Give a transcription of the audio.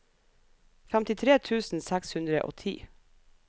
femtitre tusen seks hundre og ti